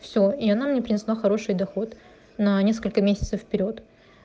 все и она мне принесла хороший доход на несколько месяцев вперёд